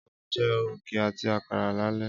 Á ó jẹ́ ògì àti àkàrà lálẹ́